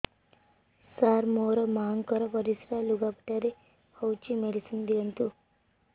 ସାର ମୋର ମାଆଙ୍କର ପରିସ୍ରା ଲୁଗାପଟା ରେ ହଉଚି ମେଡିସିନ ଦିଅନ୍ତୁ